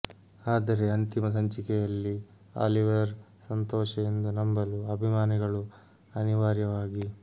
ಆದರೆ ಅಂತಿಮ ಸಂಚಿಕೆಯಲ್ಲಿ ಆಲಿವರ್ ಸಂತೋಷ ಎಂದು ನಂಬಲು ಅಭಿಮಾನಿಗಳು ಅನಿವಾರ್ಯವಾಗಿ